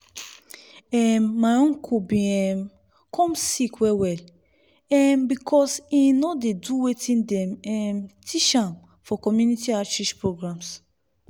erm my uncle been um come sick well well um because him no do wetin dem um teach am for community outreach programs.